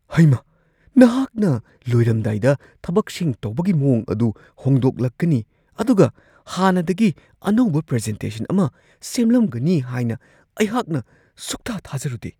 ꯍꯩꯃꯥ ! ꯅꯍꯥꯛꯅ ꯂꯣꯏꯔꯝꯗꯥꯏꯗ ꯊꯕꯛꯁꯤꯡ ꯇꯧꯕꯒꯤ ꯃꯋꯣꯡ ꯑꯗꯨ ꯍꯣꯡꯗꯣꯛꯂꯛꯀꯅꯤ ꯑꯗꯨꯒ ꯍꯥꯟꯅꯗꯒꯤ ꯑꯅꯧꯕ ꯄ꯭ꯔꯖꯦꯟꯇꯦꯁꯟ ꯑꯃ ꯁꯦꯝꯂꯝꯒꯅꯤ ꯍꯥꯏꯅ ꯑꯩꯍꯥꯛꯅ ꯁꯨꯛꯊꯥ-ꯊꯥꯖꯔꯨꯗꯦ ꯫